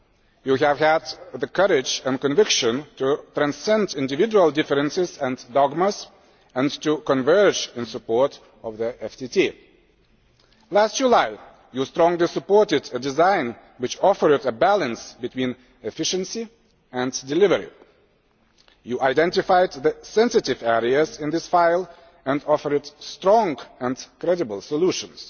You have had the courage and conviction to transcend individual differences and dogmas, and to converge in support of the FTT. Last July, you strongly supported a design which offered a balance between efficiency and delivery. You identified the sensitive areas in this file, and offered strong and credible solutions